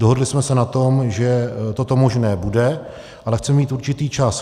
Dohodli jsme se na tom, že toto možné bude, ale chceme mít určitý čas.